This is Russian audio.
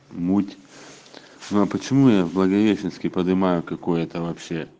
муть ну а почему я в благовещенске подымаю какое-то вообще